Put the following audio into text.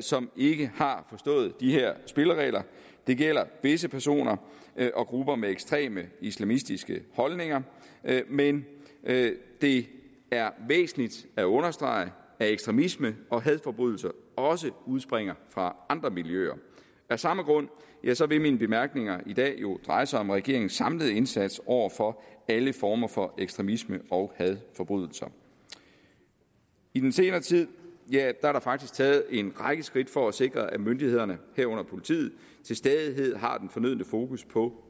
som ikke har forstået de her spilleregler det gælder visse personer og grupper med ekstreme islamistiske holdninger men det er væsentligt at understrege at ekstremisme og hadforbrydelser også udspringer fra andre miljøer af samme grund vil mine bemærkninger i dag jo dreje sig om regeringens samlede indsats over for alle former for ekstremisme og hadforbrydelser i den senere tid er der faktisk taget en række skridt for at sikre at myndighederne herunder politiet til stadighed har den fornødne fokus på